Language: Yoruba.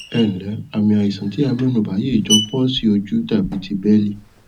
ẹǹlẹ àmì àìsàn tí a mẹnubà yìí jọ palsy ojú tàbí ti bẹẹlì